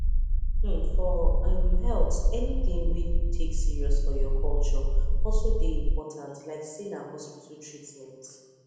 hmmmfor um health anything wey you take serious for your culture also dey important like say na hospital treatment